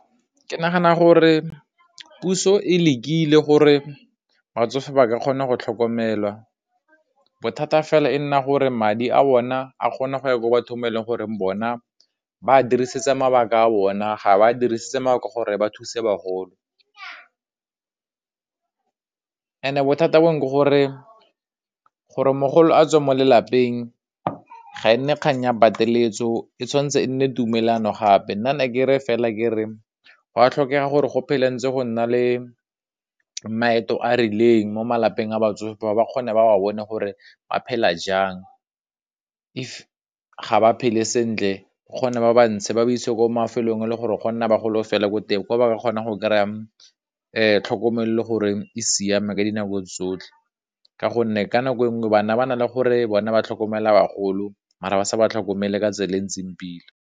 Ke nagana gore puso e lekile gore batsofe ba ka kgona go tlhokomelwa, bothata fela e nna gore madi a bona a kgona go ya ko ba bathong ba eleng gore bona ba a dirisitse mabaka a bona, ga ba a dirisitse gore ba thuse bagolo, and bothata bone ke gore gore mogolo a tswe mo lelapeng ga e nne kgang ya pateletso, e tshwanetse e nne tumellano gape, nnana ke re fela ke re gwa tlhokega gore go phele ntse go nna le maeto a rileng mo malapeng a batsofe ba ba kgone ba wa bone gore ba phela jang, if ga ba phele sentle bokgone ba ba ntshe ba ba isiwe ko mafelong e le gore go nna bagolo fela ko teng, ko ba kgona go kry-a tlhokomelo gore e siame ka dinako tsotlhe ka gonne, ka nako e nngwe bana ba na le gore bona ba tlhokomela bagolo mara ba sa ba tlhokomele ka tsela e ntseng pila.